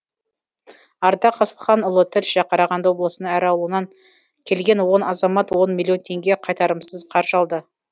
ардақ асылханұлы тілші қарағанды облысының әр ауылынан келген он азамат он миллион теңге қайтарымсыз қаржы алды